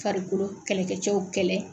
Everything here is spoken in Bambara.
Farikolo kɛlɛkɛcɛw kɛlɛ.